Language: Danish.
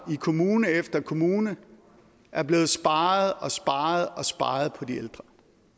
i kommune efter kommune er blevet sparet og sparet på de ældre